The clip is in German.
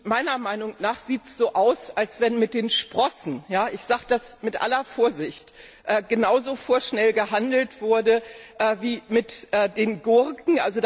Meiner Meinung nach sieht es so aus, als wenn mit den Sprossen ich sage das mit aller Vorsicht genauso vorschnell gehandelt wurde wie mit den Gurken.